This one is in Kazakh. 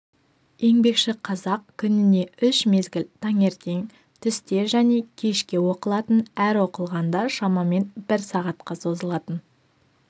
еңбекші қазақ күніне үш мезгіл таңертең түсте және кешке оқылатын әр оқылғанда шамамен бір сағатқа созылатын